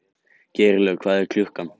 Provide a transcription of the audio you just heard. Geirlöð, hvað er klukkan?